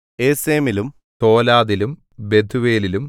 ഏസെമിലും തോലാദിലും ബെഥുവേലിലും